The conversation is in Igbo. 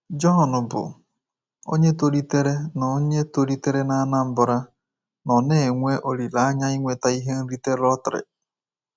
John, bụ́ onye tolitere na onye tolitere na Anambra, nọ na-enwe olileanya inweta ihe nrite lọtrị.